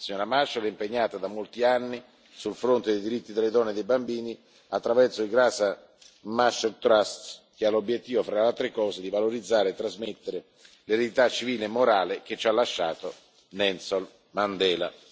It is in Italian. La signora Machel è impegnata da molti anni sul fronte dei diritti delle donne e dei bambini attraverso il Graça Machel Trust che ha l'obiettivo, tra le altre cose, di valorizzare e trasmettere l'eredità civile e morale che ci ha lasciato Nelson Mandela.